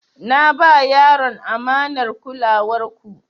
Na ba yaron amanar kulawar ku.